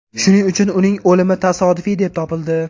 Shuning uchun uning o‘limi tasodifiy deb topildi.